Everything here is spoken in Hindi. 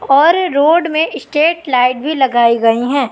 और रोड में स्टेट लाइट भी लगइ गई हैं।